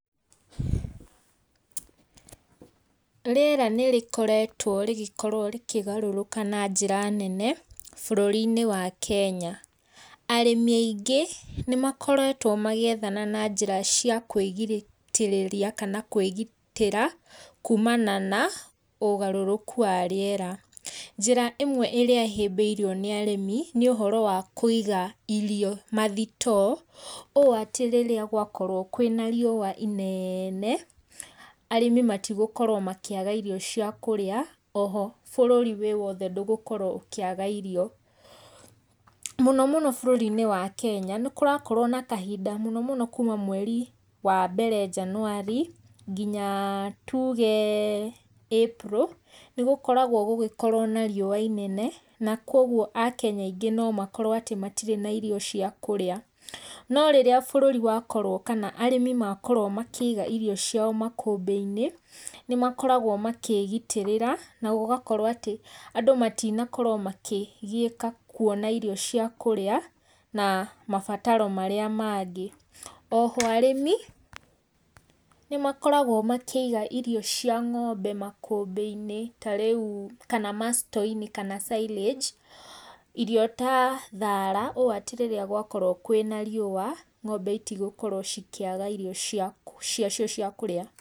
Rĩera nĩ rĩgĩkoretwo rĩgĩkorwo rĩkĩgarũrũka na njĩra nene, bũrũri-inĩ wa Kenya. Arĩmi aingĩ nĩmakoretwo magĩethana na njĩra cia kũgitĩrĩria kana kũĩgitĩra kũũmana na ũgarũrũku wa rĩera. Njĩra ĩmwe ĩrĩa ĩhĩmbĩirio nĩ arĩmi nĩ ũhoro wa kũiga irio mathitoo, ũũ atĩ rĩrĩa gwakorwo kwĩna riũwa ineene, arĩmi matigũkorwo makĩaga irio cia kũrĩa, bũrũri wĩwothe ndũgũkorwo ũkĩaga irio. Mũno mũno bũrũri-inĩ wa Kenya, nĩ kũrakorwo na kahinda mũno mũno kuuma mweri wambere njanuari, ngina tuge April nĩ gũkoragwo gũgĩkorwo na riũwa inene, na kwoguo akenya aingĩ nomakorwo atĩ matirĩ na irio cia kũrĩa, no rĩrĩa bũrũri wakorwo, kana arĩmi makorwo makĩiga irio ciao makũmbĩ-inĩ, nĩmakoragwo makĩgitĩra na gũgakorwo atĩ, andũ matinakorwo makĩgiĩka kwona irio cia kũrĩa, na mabataro marĩa mangĩ. Oho, arĩmi, nĩmakoragwo makĩiga irio cia ng'ombe makũmbĩ-inĩ, tarĩu kana ma store -inĩ, kana silage, irio ta thara ũũ atĩ rĩrĩa gwakorwo kwĩna riũwa, ng'ombe itigũkorwo cikĩaga irio ciacio cia kũrĩa.